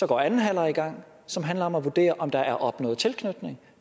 går anden halvleg i gang som handler om at vurdere om der er opnået tilknytning